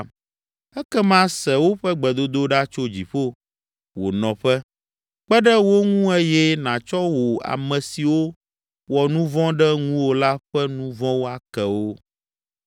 ekema se woƒe gbedodoɖa tso dziƒo, wò nɔƒe, kpe ɖe wo ŋu eye nàtsɔ wò ame siwo wɔ nu vɔ̃ ɖe ŋuwò la ƒe nu vɔ̃wo ake wo.